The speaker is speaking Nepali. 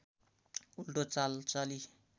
उल्टो चाल चली